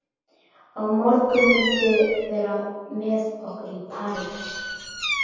Á morgun muntu vera með okkur í Paradís.